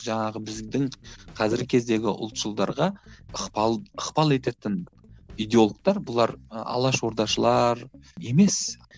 жаңағы біздің қазіргі кездегі ұлтшылдарға ықпал ықпал ететін идеологтар бұлар ы алаш ордашылар емес